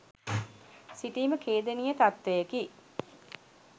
සිටීම ඛේදනීය තත්වයකි.